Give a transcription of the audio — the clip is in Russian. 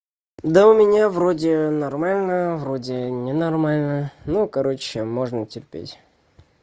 да у меня вроде нормально вроде не нормально ну короче можно терпеть